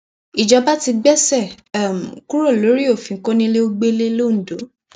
ìjọba ti gbéṣẹ um kúrò lórí òfin kọnilẹgbẹlẹ londo